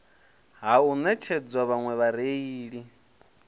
ha u netshedza vhaṋwe vhareili